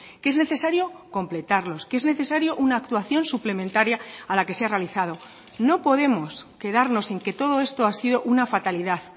que es necesario completarlos que es necesario una actuación suplementaria a la que se ha realizado no podemos quedarnos en que todo esto ha sido una fatalidad